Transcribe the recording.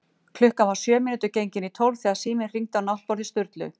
Klukkan var sjö mínútur gengin í tólf þegar síminn hringdi á náttborði Sturlu.